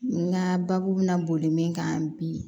N ka baabu bɛna boli min kan bi